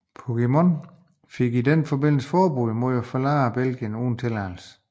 Puigdemont fik i den forbindelse forbud mod at forlade Belgien uden tilladelse